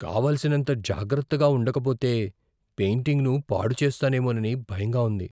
కావలసినంత జాగ్రత్తగా ఉండకపోతే పెయింటింగ్ను పాడు చేస్తానేమోనని భయంగా ఉంది.